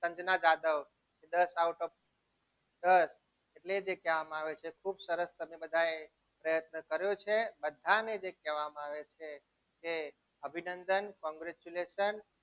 સંજના જાદવ દસ out of દસ એટલે જે કહેવામાં આવે છે ખુબ સરસ તમે બધાએ પ્રયત્ન કર્યો છે બધાને જે કહેવામાં આવે છે એ અભિનંદન congratulations